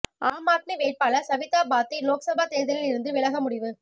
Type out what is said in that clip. ஆம் ஆத்மி வேட்பாளர் சவிதா பாத்தி லோக்சபா தேர்தலில் இருந்து விலக முடிவு